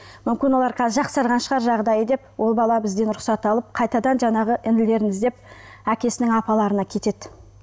мүмкін олар қазір жақсарған шығар жағдайы деп ол бала бізден рұқсат алып қайтадан жаңағы інілерін іздеп әкесінің апаларына кетеді